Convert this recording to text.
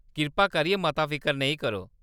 कृपा करियै मता फिकर नेईं करो।